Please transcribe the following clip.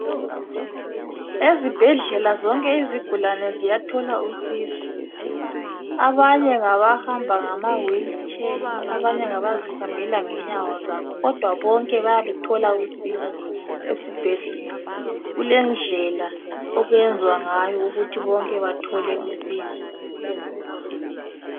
Ezibhedlela zonke izigulane ziyathola usizo, abanye ngaba hamba ngama whilitsheya abanye ngabazihambela ngenyawo zabo kodwa bonke bayaluthola usizo esibhedlela. Kulendlela okwenzwa ngayo ukuthi bonke bathole usizo.